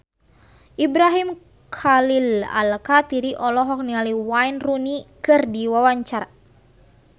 Ibrahim Khalil Alkatiri olohok ningali Wayne Rooney keur diwawancara